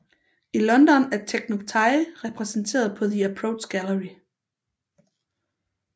I London er Tekinoktay repræsenteret på The Approach Gallery